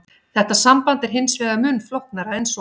Þetta samband er hins vegar mun flóknara en svo.